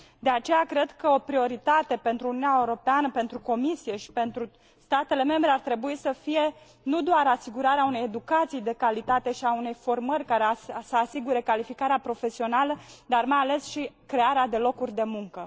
De aceea, cred că o prioritate pentru Uniunea Europeană, pentru Comisie și pentru statele membre ar trebui să fie nu doar asigurarea unei educații de calitate și a unei formări care să asigure calificarea profesională, dar, mai ales, și crearea de locuri de muncă.